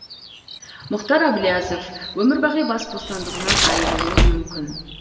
мұхтар әблязов өмір бақи бас бостандығынан айырылуы мүмкін